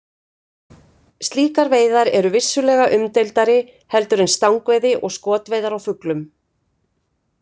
Slíkar veiðar eru vissulega umdeildari heldur en stangveiði og skotveiðar á fuglum.